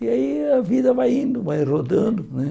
E aí a vida vai indo, vai rodando né.